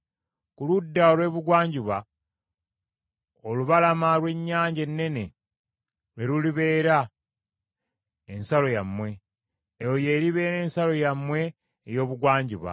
Ku ludda olw’ebugwanjuba, olubalama lw’Ennyanja Ennene lwe lulibeera ensalo yammwe. Eyo y’eriba ensalo yammwe ey’ebugwanjuba.